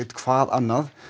hvað annað